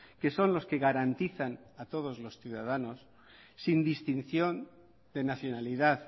que son los que garantizan a todos los ciudadanos sin distinción de nacionalidad